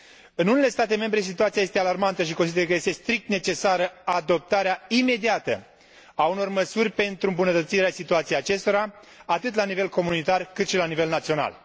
În unele state membre, situația este alarmantă și consider că este strict necesară adoptarea imediată a unor măsuri pentru îmbunătățirea situației acestora atât la nivel comunitar, cât și la nivel național.